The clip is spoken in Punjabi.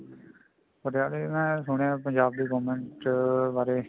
ਪਟਿਆਲੇ ਮੈਂ ਸੁਣਿਆ ਪੰਜਾਬ ਦੀ government ਚ ਬਾਰੇ